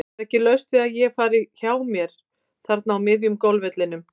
Það er ekki laust við að ég fari hjá mér þarna á miðjum golfvellinum.